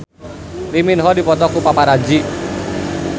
Lee Min Ho dipoto ku paparazi